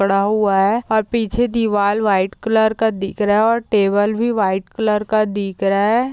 पड़ा हुआ है और पीछे दीवाल व्हाइट कलर का दिख रहा है। टेबल भी व्हाइट कलर का दिख रहा है।